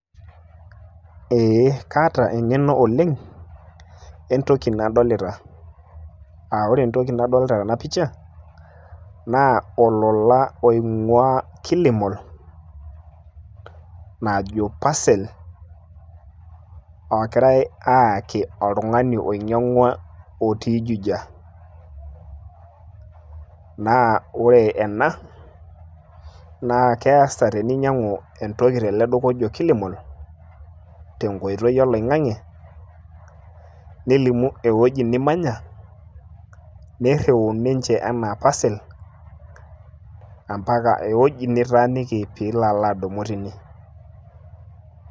ee kaata engeno oleng' entoki nadolita, aa ore entoki nadolita nanu tena picha, naa olola oing'uaa kilimall, ojo parcel, ogirae aayaki oltungani oinyang'ua otii juja. naa ore ena naa keesa, teninyiangu entoki tele duka oji kilimall tenkoitoi oloing'ang'e, nilimu ewueji nimanya, niriu ninche anaa parcel, mpaka ewuwji nitaaniki pee ilo adumu teine.